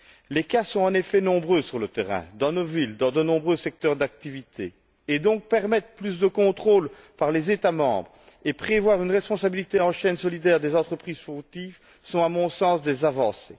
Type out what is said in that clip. Les cas sont en effet nombreux sur le terrain, dans nos villes, dans de nombreux secteurs d'activité, et le fait de permettre plus de contrôles par les États membres et de prévoir une responsabilité en chaîne solidaire des entreprises fautives constitue, à mon sens, une avancée.